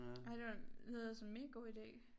Ej det var lyder som mega god ide